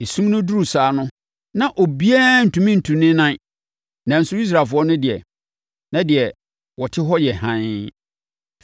Esum no duruu saa no, na obiara ntumi ntu ne nan, nanso Israelfoɔ no deɛ, na deɛ wɔte hɔ yɛ hann.